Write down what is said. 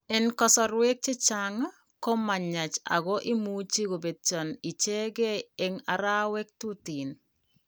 En kasrwek chechang, ko mayach ago imuche kobetyo ichegen en arawek tuten